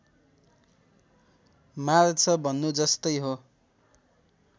मार्छ भन्नु जस्तै हो